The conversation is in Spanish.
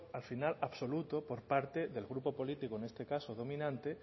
al final absoluto por parte del grupo político en este caso dominante